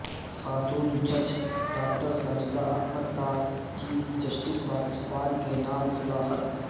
خاتون جج ڈاکٹر ساجدہ احمد کا چیف جسٹس پاکستان کے نام کھلا خط